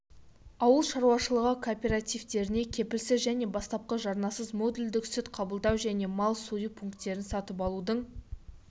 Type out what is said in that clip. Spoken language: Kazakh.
ауыл шаруашылығы кооперативтеріне кепілсіз және бастапқы жарнасыз модульдік сүт қабылдау және мал сою пункттерін сатып алудың